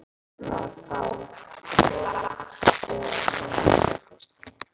Við ætlum að fá tvo latte og eina kökusneið.